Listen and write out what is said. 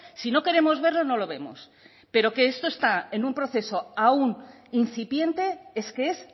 si no queremos verlo no lo vemos pero que esto está en un proceso aún incipiente es que es